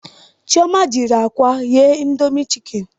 Chioma jiri akwa ghee indomie chikeni